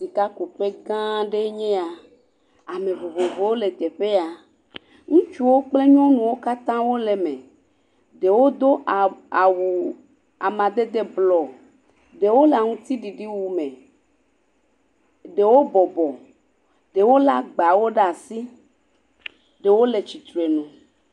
Sika ku ƒe gã aɖe nye ya, ame vovovowo le teƒe ya, ŋutsuwo kple nyɔnuwo kata wole eme, ɖewo do ah awu amadede bluɔ, ɖewo le aŋuti ɖiɖi me, ɖewo bɔbɔ, ɖewo le agbawo ɖe asi, ɖewo le tsitre nu.